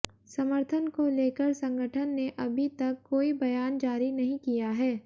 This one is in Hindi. समर्थन को लेकर संगठन ने अभी तक कोई बयान जारी नहीं किया है